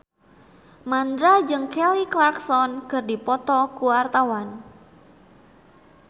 Mandra jeung Kelly Clarkson keur dipoto ku wartawan